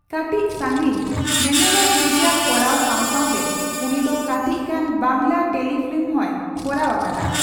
ᱠᱟᱹᱴᱤᱪ ᱥᱟᱺᱜᱤᱧ ᱧᱮᱱᱮᱞᱚᱢ ᱥᱤᱨᱤᱭᱟᱞ ᱠᱚᱨᱟᱣ ᱥᱟᱣ ᱥᱟᱣᱛᱮ ᱩᱱᱤ ᱫᱚ ᱠᱟᱴᱤᱪᱜᱟᱱ ᱵᱟᱝᱞᱟ ᱴᱮᱞᱤᱯᱷᱤᱞᱢ ᱦᱚᱸᱭ ᱠᱚᱨᱟᱣ ᱟᱠᱟᱫᱟ ᱾